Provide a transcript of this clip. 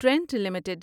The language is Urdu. Trent limited